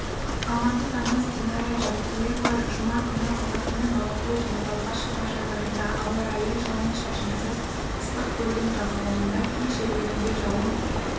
алматы тамыз динара жаркеева жұма күні қазақстанның алакөл және балқаш шипажайларында ауа райы жауын-шашынсыз ыстық көлдің жағалауында кей жерлерінде жауын